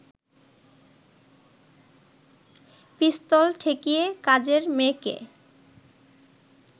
পিস্তল ঠেকিয়ে কাজের মেয়েকে